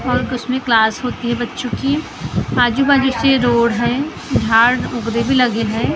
और कुछ में क्लास होती है बच्चों की आजु बाजु से रोड है झाड उगने भी लगे है ।